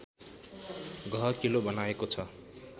गहकिलो बनाएको छ